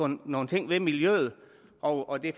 nogle ting ved miljøet og det er